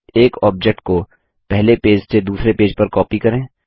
एक ऑब्जेक्ट को पहले पेज से दूसरे पेज पर कॉपी करें